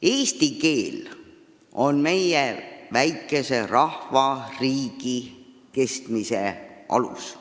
Eesti keel on meie väikese rahva, riigi kestmise alus.